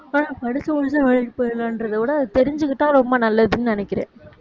படிச்சி முடிச்சா வேலைக்கு போயிறலாம்கிறதைவிட அதை தெரிஞ்சுகிட்டா ரொம்ப நல்லதுன்னு நினைக்கிறேன்